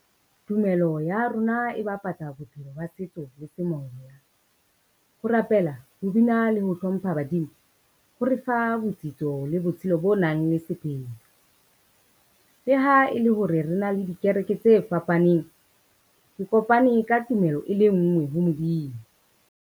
Tumelo ya rona e bapatsa bophelo ba setso le semoya. Ho rapela, ho bina le ho hlompha badimo ho re fa botsitso le botshelo bo nang le . Le ha e le hore re na le dikereke tse fapaneng, ke kopane ka tumelo e le nngwe ho Modimo.